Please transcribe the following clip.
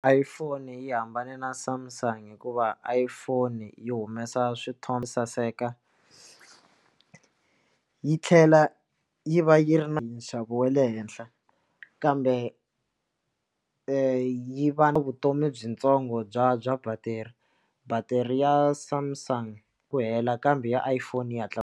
iPhone yi hambane na Samsung hikuva iphone yi humesa swithombe saseka yi tlhela yi va yi ri na hi nxavo wa le henhla kambe yi va na vutomi byitsongo bya bya battery battery ya Samsung ku hela kambe ya iPhone yi hatla.